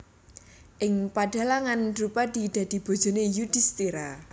Ing pedhalangan Drupadi dadi bojone Yudhistira